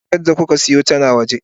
Jan rigar da kuka siyo tana waje.